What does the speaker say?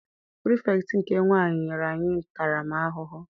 Pirifektị nke nwaanyị nyere anyị ntara m ahụhụ.